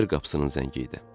Bayır qapısının zəngi idi.